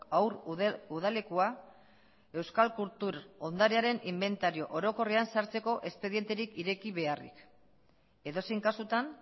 haur udalekua euskal kultur ondarearen inbentario orokorrean sartzeko espedienterik ireki beharrik edozein kasutan